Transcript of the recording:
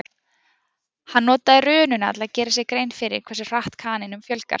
Hann notaði rununa til að gera sér grein fyrir hversu hratt kanínum fjölgar.